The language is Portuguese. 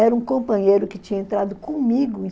Era um companheiro que tinha entrado comigo